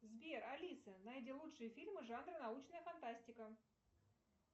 сбер алиса найди лучшие фильмы жанра научная фантастика